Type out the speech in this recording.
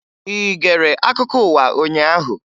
Ị gere akụkọ ụwa ụnyaahụ?